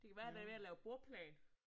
Det kan være han er ved at lave bordplan